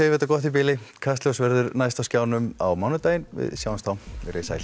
þetta gott í bili Kastljós verður næst á skjánum á mánudaginn við sjáumst þá veriði sæl